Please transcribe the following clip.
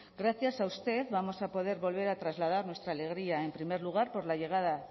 gracias a usted vamos a poder volver a trasladar nuestra alegría en primer lugar por la llegada